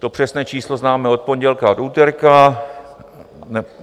To přesné číslo známe od pondělka, od úterka.